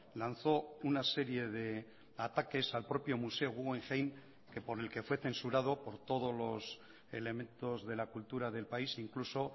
lanzó una serie de ataques al propio museo guggenheim por el que fue censurado por todos los elementos de la cultura del país incluso